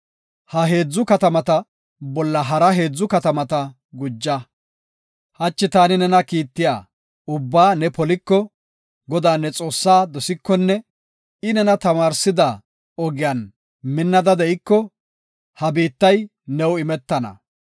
ha heedzu katamata bolla hara heedzu katamata guja. Hachi ta nena kiittiya ubbaa ne poliko, Godaa ne Xoossaa dosikonne I nena tamaarsida ogiyan minnada de7iko, ha biittay new imetana.